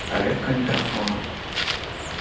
проверка микрофона